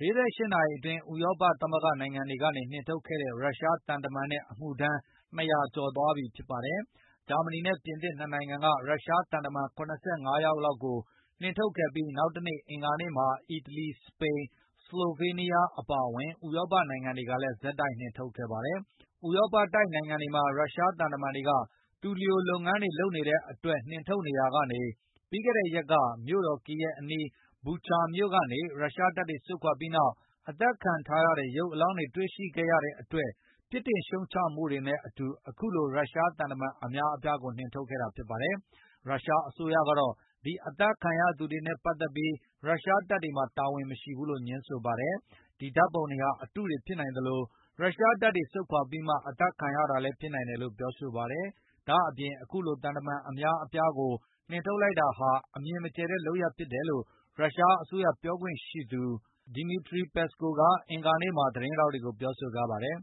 ၄၈ နာရီအတွင်း ဥရောပသမဂ္ဂနိုင်ငံ တွေကနေနှင်ထုတ်ခဲ့တဲ့ ရုရှားသံတမံနဲ့ အမှုထမ်း ၂၀၀ ကျော်ရှိသွားပြီဖြစ်ပါတယ်။ ဂျာမဏီနဲ့ ပြင်သစ် ၂နိုင်ငံက ရုရှားသံတမန် ၇၅ ယောက်လောက် ကိုနှင်ထုတ်ပြီး နောက်တနေ့ အင်္ဂါနေ့မှာ အီတလီ၊ စပိန်၊ ဆလိုဘေးနီးယား အပါအဝင် ဥရောပ နိုင်ငံတွေကလည်း ဆက်တိုက် နှင်ထုတ်ခဲ့ပါတယ်။ ဥရောပတိုက်နိုင်ငံတွေမှာ ရုရှားသံတမန်တွေက သူလျိုလုပ်ငန်းတွေ လုပ်ကိုင်နေတဲ့အတွက် နှင်ထုတ်နေရာကနေ၊ ပြီးခဲ့တဲ့ရက်က မြို့တော် ကီယက်အနီးက ဘူချာမြို့ကနေ ရုရှားတပ်တွေဆုတ်ခွာသွားပြီးနောက် အသတ်ခံထားရတဲ့ ရုပ်အလောင်းတွေ တွေ့ရှိခဲ့ရတဲ့အတွက် ပြစ်တင်ရှုံ့ချမှုတွေနဲ့အတူ အခုလိုရုရှားသံတမန် အများအပြားကိုနှင်ထုတ်ခဲ့တာ ဖြစ်ပါတယ်။ ရုရှားအစိုးရကတော့ ဒီအသတ်ခံရသူတွေနဲ့ ပတ်သက်ပြီး ရုရှားတပ်တွေမှာ တာဝန်မရှိဘူးလို့ ငြင်းဆိုပါတယ်။ ဒီဓာတ်ပုံတွေဟာ အတုတွေဖြစ်နိုင်သလို၊ ရုရှားတပ်တွေ ဆုတ်ခွါပြီးမှ အသတ်ခံရတာဖြစ်နိုင်တယ်လို့ ပြောဆိုပါတယ်။ ဒါ့အပြင် အခုလိုသံတမန် အများအပြားကို နှင်ထုတ်လိုက်တာဟာ အမြင်မကျယ်တဲ့လုပ်ရပ်ဖြစ်တယ်လို့ ရုရှား အစိုးရပြောရေးဆိုခွင့်ရှိသူ Dmity Peskov အင်္ဂါနေ့က သတင်းထောက်တွေကိုပြောဆိုပါတယ်။